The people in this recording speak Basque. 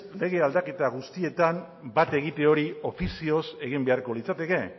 lege aldaketa guztietan bat egite hori ofizioz egin beharko litzateke